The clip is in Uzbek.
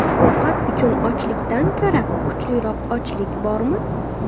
Ovqat uchun ochlikdan ko‘ra kuchliroq ochlik bormi?